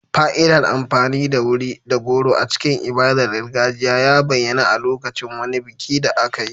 Fa'idar amfani da wuri da goro a cikin ibadar gargajiya ya bayyana a lokacin wani biki da aka yi.